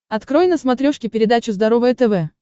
открой на смотрешке передачу здоровое тв